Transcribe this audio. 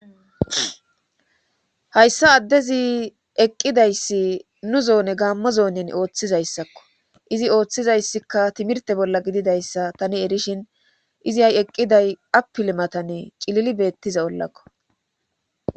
Hayssa addezi eqqidayssi nu zoone gaammo zoonin ooththizayssakko izi ooththizayssikka timirte bolla gididayssa tani erishin izi hay eqqiday apilimatanne cilili beettiza ollakko